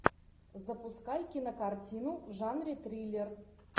запускай кинокартину в жанре триллер